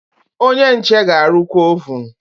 Onye nche ga-arụkwa ovun.